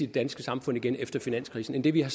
danske samfund igen efter finanskrisen end det vi har